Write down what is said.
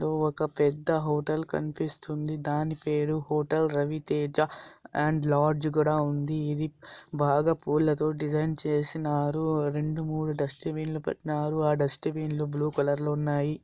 ఒక పెద్ద హోటల్ కనిపిస్తుంది. దాని పేరు hotel Ravi Teja. And lodge కూడా ఉంది. ఇది బాగా పూలతో డిజైన్ చేసిన్నారు. రెండుమూడు డస్ట్ బిన్ లు పెట్టిన్నారు. ఆ డస్ట్ బిన్ లు బ్లూ కలర్ లో ఉన్నాయి.